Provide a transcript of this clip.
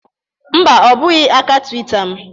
Mba, ọ bụghị aka Twitter m